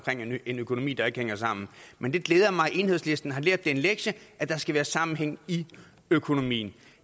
en økonomi der ikke hænger sammen men det glæder mig at enhedslisten har lært den lektie at der skal være sammenhæng i økonomien